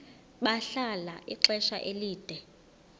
bahlala ixesha elide